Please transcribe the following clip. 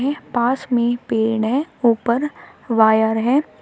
यह पास में पेड़ है ऊपर वायर है।